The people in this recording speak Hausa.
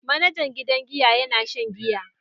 Manajan gidan giya yana shan giya.